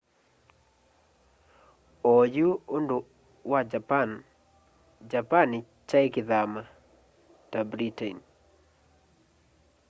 oyu undu wa japan japan kyai kithama ta britain